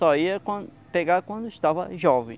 Só ia pegar quando estava jovem.